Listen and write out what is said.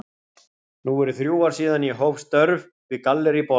Nú eru þrjú ár síðan ég hóf störf við Gallerí Borg.